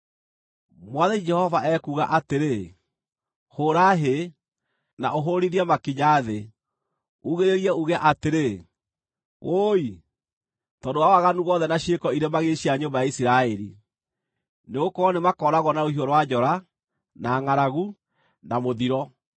“ ‘Mwathani Jehova ekuuga atĩrĩ: Hũũra hĩ, na ũhũũrithie makinya thĩ, uugĩrĩrie uuge atĩrĩ, “Wũi!” Tondũ wa waganu wothe na ciĩko irĩ magigi cia nyũmba ya Isiraeli, nĩgũkorwo nĩmakooragwo na rũhiũ rwa njora, na ngʼaragu, na mũthiro.